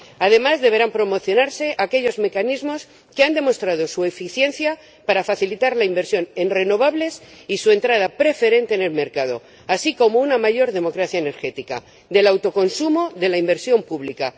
Además, deberán promocionarse aquellos mecanismos que han demostrado su eficiencia para facilitar la inversión en renovables y su entrada preferente en el mercado, así como una mayor democracia energética del autoconsumo de la inversión pública.